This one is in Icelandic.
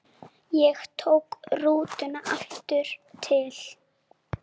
Ég tók rútuna aftur til